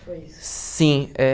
Sim eh